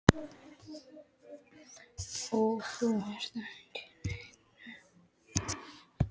Og þú ert ekki í neinni kápu.